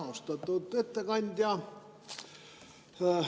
Austatud ettekandja!